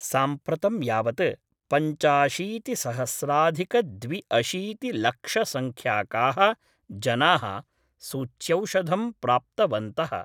साम्प्रतं यावत् पञ्चाशीतिसहस्राधिकद्विअशीतिलक्षसंख्यकाः जना: सूच्यौषधम् प्राप्तवन्तः।